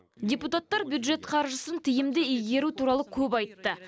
депутаттар бюджет қаржысын тиімді игеру туралы көп айтты